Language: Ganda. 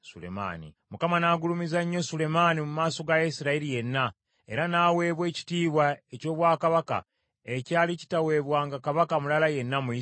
Mukama n’agulumiza nnyo Sulemaani mu maaso ga Isirayiri yenna, era n’aweebwa ekitiibwa eky’obwakabaka ekyali kitaweebwanga kabaka mulala yenna mu Isirayiri.